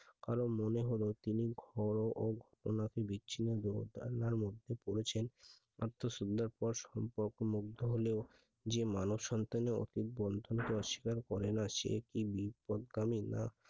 কারণ মনে হলো তিনি ঘ ঘটনাটি বিচ্ছিন্ন মধ্যে পড়েছেন আত্মসুল্লতার সম্পর্কের মধ্যে হলেও যে মানব সন্তানের অটুট বন্ধনকে অস্বীকার করে না সে কি বিপদগামী না